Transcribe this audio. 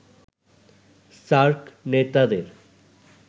SAARC নেতাদের